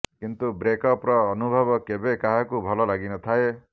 କିନ୍ତୁ ବ୍ରେକ୍ଅପ୍ ର ଅନୁଭବ କେବେ କାହାକୁ ଭଲ ଲାଗି ନଥାଏ